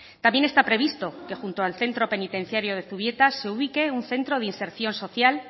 también está previsto que junto al centro penitenciario de zubieta se ubique un centro de inserción social